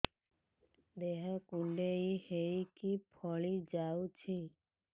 ଦେହ କୁଣ୍ଡେଇ ହେଇକି ଫଳି ଯାଉଛି